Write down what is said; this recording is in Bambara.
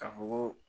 Ka fɔ ko